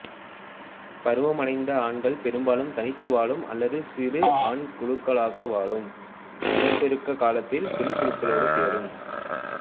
பருவமடைந்த ஆண்கள் பெரும்பாலும் தனித்து வாழும் அல்லது சிறு ஆண் குழுக்களாக வாழும் இனப்பெருக்க காலத்தில் பெண் குழுக்களோடு சேரும்